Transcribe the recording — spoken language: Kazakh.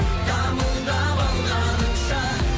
дамылдап алғаныңша